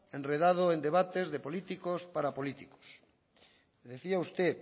enredado en debates de políticos para políticos decía usted